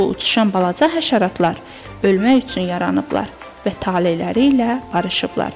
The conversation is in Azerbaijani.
Bu uçuşan balaca həşəratlar ölmək üçün yaranıblar və taleləri ilə barışıblar.